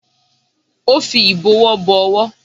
Ó fi ìbọwọ́ bo owó